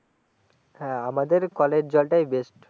হ্যাঁ আমাদের কলের জলটাই বেস্ট